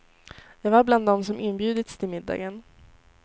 Jag var bland dem som inbjudits till middagen.